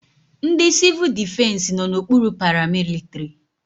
Ndị civul defesi nọ n'okpuru paramilitrị.